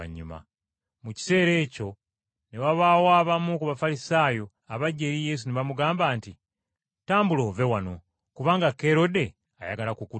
Mu kiseera ekyo ne wabaawo abamu ku Bafalisaayo abajja eri Yesu ne bamugamba nti, “Tambula ove wano, kubanga Kerode ayagala kukutta.”